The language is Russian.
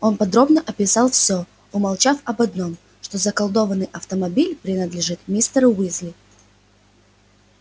он подробно описал всё умолчав об одном что заколдованный автомобиль принадлежит мистеру уизли